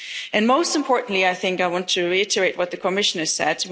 them. And, most importantly, I think I want to reiterate what the Commissioner